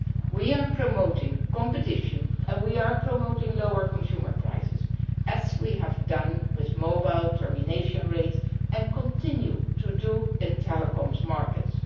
We are promoting competition and lower consumer prices as we have done with mobile termination rates and continue to do in telecoms markets.